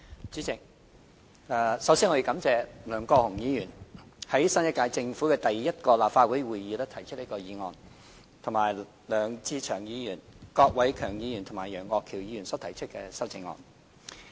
主席，首先，我感謝梁國雄議員在新一屆政府的第一個立法會會議提出這項議案，以及梁志祥議員、郭偉强議員和楊岳橋議員提出修正案。